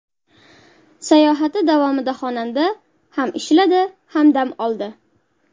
Sayohati davomida xonanda ham ishladi, ham dam oldi.